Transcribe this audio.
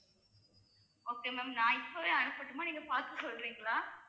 okay ma'am நான் இப்பவே அனுப்பட்டுமா நீங்க பார்த்து சொல்றீங்களா